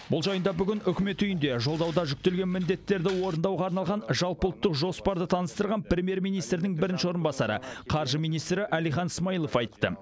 бұл жайында бүгін үкімет үйінде жолдауда жүктелген міндеттерді орындауға арналған жалпыұлттық жоспарды таныстырған премьер министрдің бірінші орынбасары қаржы министрі әлихан смайылов айтты